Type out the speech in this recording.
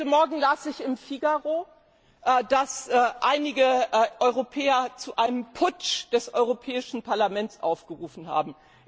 Heute Morgen las ich im Figaro, dass einige Europäer zu einem Putsch des Europäischen Parlaments aufgerufen haben.